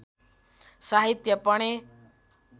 साहित्य पढेँ